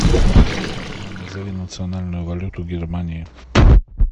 афина назови национальную валюту германии